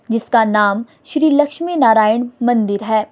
जिसका नाम श्री लक्ष्मी नारायण मंदिर है।